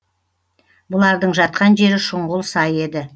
бұлардың жатқан жері шұңғыл сай еді